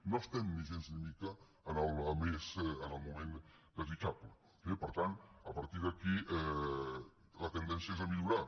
no estem gens ni mica en el moment desitjable eh per tant a partir d’aquí la tendència és a millorar